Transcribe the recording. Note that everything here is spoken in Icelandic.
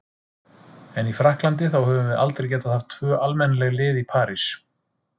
En í Frakklandi, þá höfum við aldrei getað haft tvö almennileg lið í París.